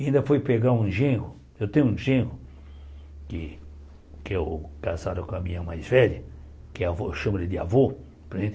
E ainda foi pegar um genro, eu tenho um genro, que que é o casado com a minha mais velha, chama de avô, por exemplo?